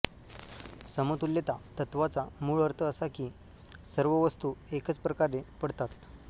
समतुल्यता तत्त्वाचा मूळ अर्थ असा की सर्व वस्तू एकच प्रकारे पडतात